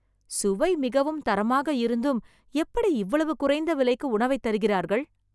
சுவை மிகவும் தரமாக இருந்தும் எப்படி இவ்வளவு குறைந்த விலைக்கு உணவைத் தருகிறார்கள்